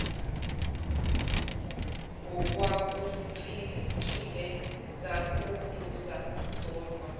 ngokwakumcikile zangunduza zodwa